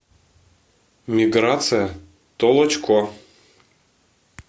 миграция толочко